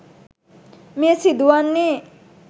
මෙය සිදු වන්නේ